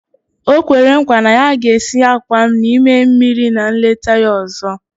O kwere nkwa na ya ga-esi àkwá n'ime mmiri na nleta ya ọzọ